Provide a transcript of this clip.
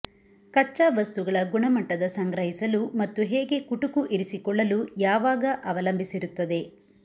ಕಚ್ಚಾ ವಸ್ತುಗಳ ಗುಣಮಟ್ಟದ ಸಂಗ್ರಹಿಸಲು ಮತ್ತು ಹೇಗೆ ಕುಟುಕು ಇರಿಸಿಕೊಳ್ಳಲು ಯಾವಾಗ ಅವಲಂಬಿಸಿರುತ್ತದೆ